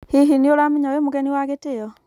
hihi nĩũramenya wĩ mũgenĩ wa gĩtĩo?